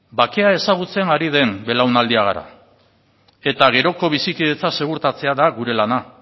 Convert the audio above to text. bakea ezagutzen ari den belaunaldia gara eta geroko bizikidetza segurtatzea da gure lana